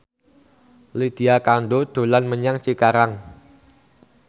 Lydia Kandou dolan menyang Cikarang